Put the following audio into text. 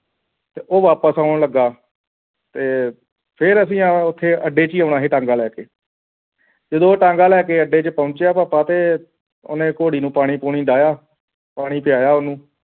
ਤੇ ਉਹ ਵਾਪਸ ਆਉਣ ਲੱਗਾ ਤੇ ਫੇਰ ਅਸੀਂ ਉੱਥੇ ਆਉਣਾ ਸੀ ਅੱਡੇ ਤੇ ਜਦੋਂ ਉਹ ਟਾਂਗਾ ਲੈ ਕੇ ਜਦੋ ਅੱਡੇ ਤੇ ਪਹੁੰਚਿਆ ਭਾਪਾ ਤੇ ਓ ਨੇ ਕੋੜੀ ਨੂੰ ਪਾਣੀ ਪੂਣੀ ਢਾਇਆ ਪਾਣੀ ਪਿਆਇਆ ਉਸ ਨੂੰ